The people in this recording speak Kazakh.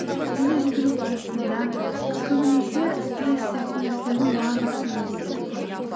және жүгіру барысында көбінесе стресс сияқты нәрселердің барлығы шынымен де кетіп қалады